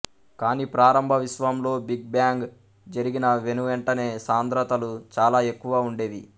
కాని ప్రారంభ విశ్వంలో బిగ్ బ్యాంగ్ జరిగిన వెనువెంటనే సాంద్రతలు చాలా ఎక్కువ ఉండేవి